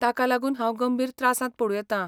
ताका लागून हांव गंभीर त्रासांत पडूं येता.